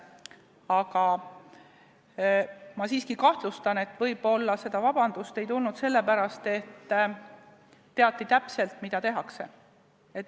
Aga ma siiski kahtlustan, et võib-olla seda vabandust ei tulnud sellepärast, et teati täpselt, mida tehakse.